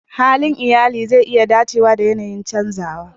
Halin iyali zai iya dacewa da yanayin canzawa.